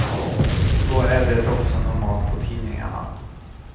Så är det också normalt på tidningarna.